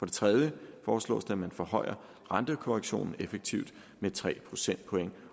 det tredje foreslås det at man forhøjer rentekorrektionen effektivt med tre procentpoint